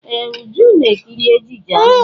Ee! Uju ná-ekiri ejije ahụ.